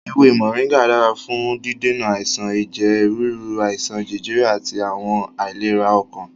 Ewé Mọ̀ríngà dára fún dídènà àìsàn ẹ̀jẹ̀ ríru, àìsàn jẹjẹrẹ àti àwọn àìlera ọkàn.